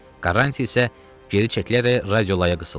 Quaranti isə geri çəkilərək radiolaya qısıldı.